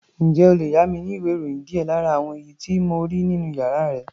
Ǹjẹ́ o lè yá mi ní ìwé-ìròyìn díẹ̀ lára àwọn èyí tí mo rí nínú yàrá ẹ?